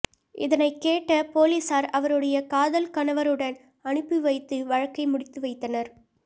இதனை கேட்ட பொலிஸார் அவருடைய காதல் கணவருடன் அனுப்பி வைத்து வழக்கை முடித்து வைத்தனர்